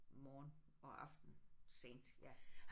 Morgen og aften sent ja